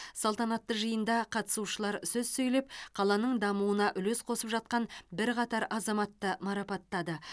салтанатты жиында қатысушылар сөз сөйлеп қаланың дамуына үлес қосып жатқан бірқатар азаматты марапаттады